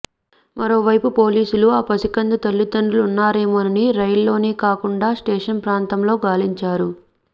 మరోవైపు పోలీసులు ఆ పసికందు తల్లిదండ్రులున్నారేమోనని రైల్లోనే కాకుండా స్టేషన్ ప్రాంతంలో గాలించారు